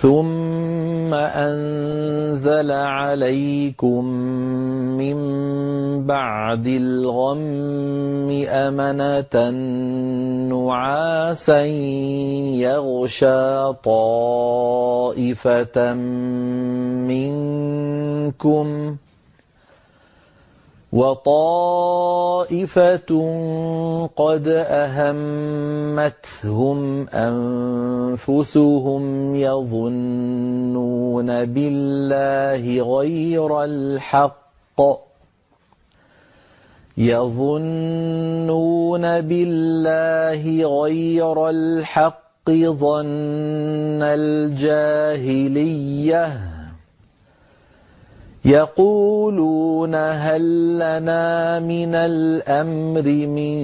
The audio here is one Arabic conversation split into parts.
ثُمَّ أَنزَلَ عَلَيْكُم مِّن بَعْدِ الْغَمِّ أَمَنَةً نُّعَاسًا يَغْشَىٰ طَائِفَةً مِّنكُمْ ۖ وَطَائِفَةٌ قَدْ أَهَمَّتْهُمْ أَنفُسُهُمْ يَظُنُّونَ بِاللَّهِ غَيْرَ الْحَقِّ ظَنَّ الْجَاهِلِيَّةِ ۖ يَقُولُونَ هَل لَّنَا مِنَ الْأَمْرِ مِن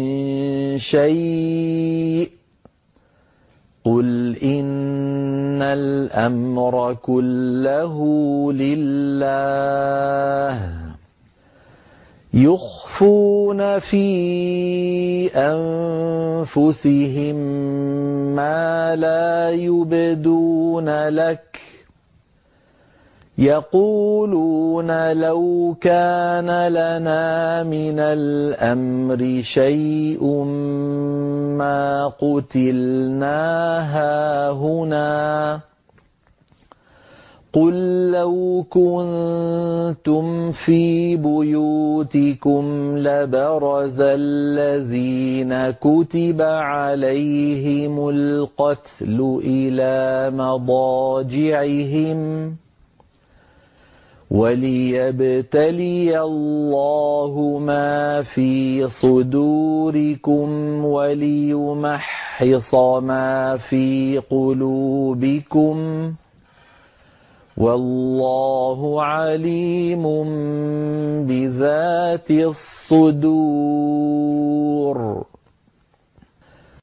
شَيْءٍ ۗ قُلْ إِنَّ الْأَمْرَ كُلَّهُ لِلَّهِ ۗ يُخْفُونَ فِي أَنفُسِهِم مَّا لَا يُبْدُونَ لَكَ ۖ يَقُولُونَ لَوْ كَانَ لَنَا مِنَ الْأَمْرِ شَيْءٌ مَّا قُتِلْنَا هَاهُنَا ۗ قُل لَّوْ كُنتُمْ فِي بُيُوتِكُمْ لَبَرَزَ الَّذِينَ كُتِبَ عَلَيْهِمُ الْقَتْلُ إِلَىٰ مَضَاجِعِهِمْ ۖ وَلِيَبْتَلِيَ اللَّهُ مَا فِي صُدُورِكُمْ وَلِيُمَحِّصَ مَا فِي قُلُوبِكُمْ ۗ وَاللَّهُ عَلِيمٌ بِذَاتِ الصُّدُورِ